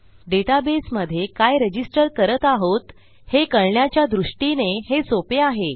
डेटाबेसमधे काय रजिस्टर करत आहोत हे कळण्याच्या दृष्टीने हे सोपे आहे